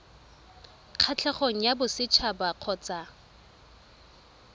kgatlhegong ya boset haba kgotsa